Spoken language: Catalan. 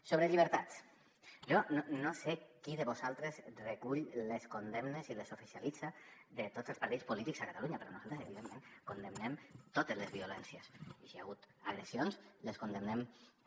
sobre llibertats jo no sé qui de vosaltres recull les condemnes i les oficialitza de tots els partits polítics a catalunya però nosaltres evidentment condemnem totes les violències i si hi ha hagut agressions les condemnem també